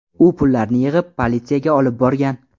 U pullarni yig‘ib, politsiyaga olib borgan.